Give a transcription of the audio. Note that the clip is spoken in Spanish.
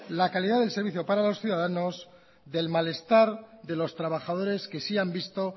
la calidad del servicio para los ciudadanos del malestar de los trabajadores que sí han visto